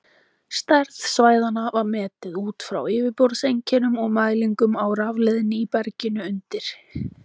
Stærð svæðanna var metin út frá yfirborðseinkennum og mælingum á rafleiðni í berginu undir.